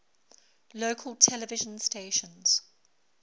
local television stations